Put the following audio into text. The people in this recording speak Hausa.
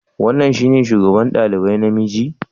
Wannan shine shugaba ɗalibai namiji?